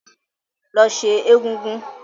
Lọ sẹ́ egúngún!